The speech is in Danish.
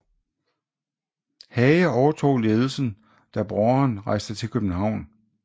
Hage overtog ledelsen da broderen rejste til København